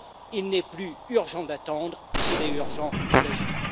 Il n'est plus urgent d'attendre, il est urgent d'agir.